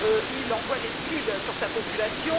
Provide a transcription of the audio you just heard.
Il envoie des Scuds sur sa population.